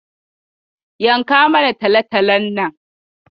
Yanka mana talatalon nan.